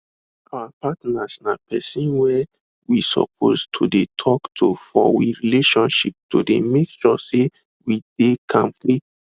our partners na persin were we suppose to de talk to for we relationships to de make sure say we de kampe